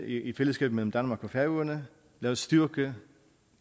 i fællesskab mellem danmark og færøerne lad os styrke